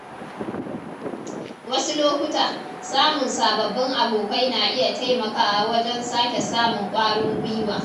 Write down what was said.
Wasu lokuta, samun sababbin abokai na iya taimakawa wajen sake samun kwarin gwiwa.